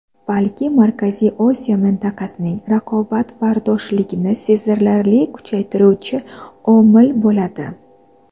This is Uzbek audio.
balki Markaziy Osiyo mintaqasining raqobatbardoshligini sezilarli kuchaytiruvchi omil bo‘ladi.